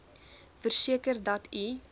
verseker dat u